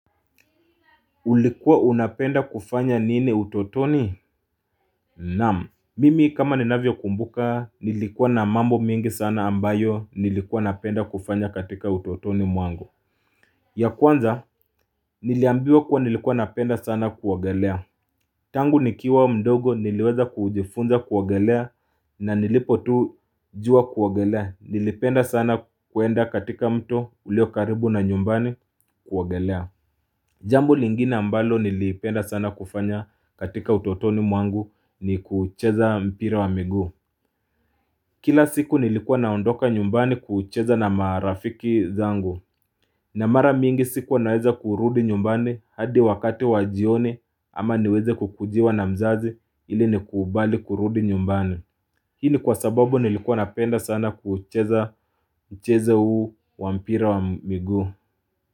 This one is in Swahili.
Ulikuwa unapenda kufanya nini utotoni? Naam. Mimi kama ninavyokumbuka nilikuwa na mambo mengi sana ambayo nilikuwa napenda kufanya katika utotoni mwangu. Ya kwanza niliambiwa kuwa nilikuwa napenda sana kuogelea. Tangu nikiwa mdogo niliweza kujifunza kuogelea na nilipo tu juwa kuogelea. Nilipenda sana kuenda katika mto ulio karibu na nyumbani kuogelea. Jambo lingine ambalo nilipenda sana kufanya katika utotoni mwangu ni kuucheza mpira wa miguu Kila siku nilikuwa naondoka nyumbani kuucheza na marafiki zangu na mara mingi sikuwa naweza kurudi nyumbani hadi wakati wa jioni ama niweze kukujiwa na mzazi ili nikubali kurudi nyumbani Hi ni kwa sababu nilikuwa napenda sana kuucheza mchezo huu wa mpira wa miguu.